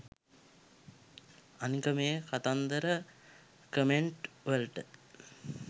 අනික මේ කතන්දර කමෙන්ට් වලට